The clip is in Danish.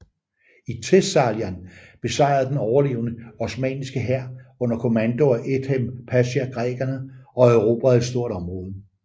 I Thessalien besejrede den overlegne osmanniske hær under kommando af Edhem Pasha grækerne og erobrede et stort område